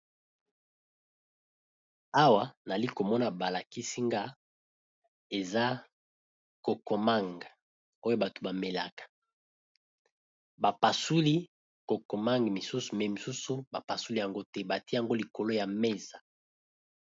Awa nali komona balakisi nga eza kokomanga oyo bato bamelaka bapasuli kokomanga misusu na misusu bapasuli yango te, batie yango likolo ya mesa.